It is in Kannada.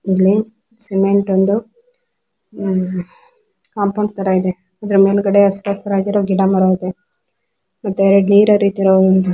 ಇಲ್ಲಿ ಸಿಮೆಂಟ್ ಒಂದು ಆಹ್ಹ್ ಕಾಂಪೌಂಡ್ ತರ ಇದೆ ಅದರ ಮೇಲ್ಗಡೆ ಹಸರ್ ಹಸಿರಾಗಿರೋ ಗಿಡ ಮರ ಇದೆ ಮತ್ತೆ ಎರಡ್ ನೀರ್ ಹರಿತಿರೋ ಒಂದು--